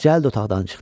Cəld otaqdan çıxdı.